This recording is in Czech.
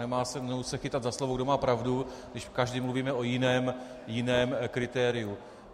Nemá cenu se chytat za slovo, kdo má pravdu, když každý mluvíme o jiném kritériu.